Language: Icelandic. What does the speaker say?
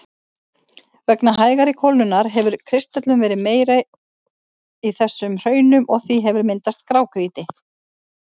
Vegna hægari kólnunar hefur kristöllun verið meiri í þessum hraunum og því hefur myndast grágrýti.